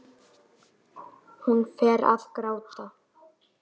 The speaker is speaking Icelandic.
Jón skráði ævisögu afa síns.